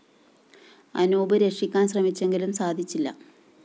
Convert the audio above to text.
അനൂപ് രക്ഷിക്കാന്‍ ശ്രമിച്ചെങ്കിലും സാധിച്ചില്ല